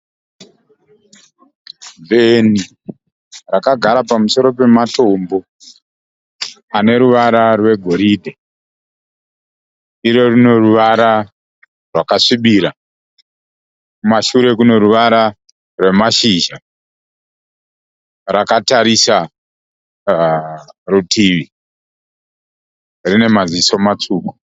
Bveni rakagara pamusoro pematombo ane ruvara rwegoridhe iro rine ruvara rwakasvibira. Kumashure kune ruvara rwamashizha rakatarisa kurutivi. Rine maziso matsvuku.